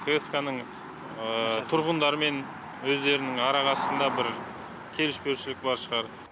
кск ның тұрғындармен өздерінің арағасындағы бір келіспеушілік бар шығар